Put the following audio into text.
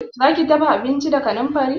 Zaki dafa abinci da kanamfari?